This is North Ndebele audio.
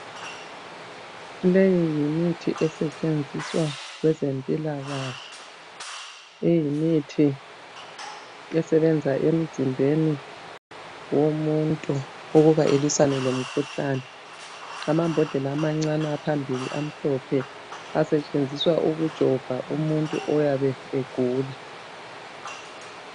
Leyi yimithi esetshenziswa kwezempilakahle. Le yimithi esebenza emzimbeni womuntu ukuba elwisane lomkhuhlane. Amambodlela amancane aphambili amhlophe asetshenziswa ukujova umuntu oyabe egula.